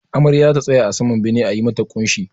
Amarya zata tsaya a saman bene a yi mata ƙunshi